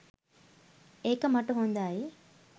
ඒක මට හොඳයි.